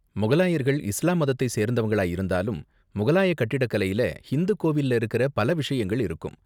முகலாயர்கள் இஸ்லாம் மதத்தை சேர்ந்தவங்களா இருந்தாலும், முகலாய கட்டிடக்கலையில ஹிந்து கோவில்ல இருக்குற பல விஷயங்கள் இருக்கும்.